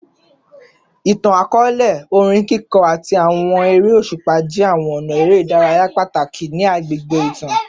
Itan-akọọlẹ, orin kiko, ati awọn ere oṣupa jẹ awọn ọna ere idaraya pataki ni awọn agbegbe itan